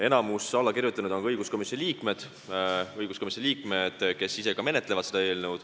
Enamik allakirjutanuid on ka õiguskomisjoni liikmed, kes ise seda eelnõu menetlevad.